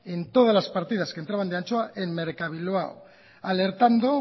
en mercabilbao alertando